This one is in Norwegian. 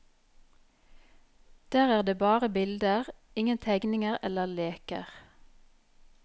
Der er det bare bilder, ingen tegninger eller leker.